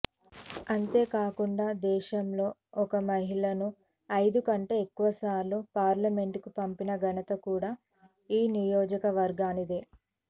అంతే కాకుండా దేశంలో ఒక మహిళను ఐదు కంటే ఎక్కువ సార్లు పార్లమెంటుకు పంపిన ఘనత కూడా ఈ నియోజకవర్గానిదే